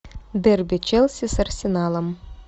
дерби челси с арсеналом